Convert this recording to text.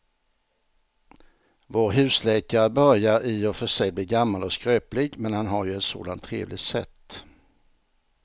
Vår husläkare börjar i och för sig bli gammal och skröplig, men han har ju ett sådant trevligt sätt!